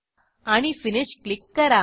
आणि Finishक्लिक करा